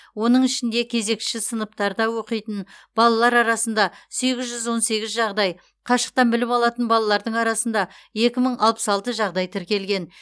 оның ішінде кезекші сыныптарда оқитын балалар арасында сегіз жүз он сегіз жағдай қашықтан білім алатын балалардың арасында екі мың алпыс алты жағдай тіркелген